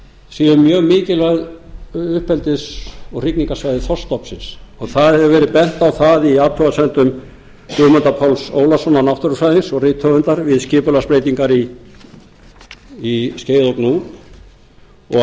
séu mjög mikilvæg uppeldis og hrygningarsvæði þorskstofnsins það hefur verið bent á það í athugasemdum guðmundar páls ólafssonar náttúrufræðings og rithöfundar við skipulagsbreytingar í skeiða og gnúp og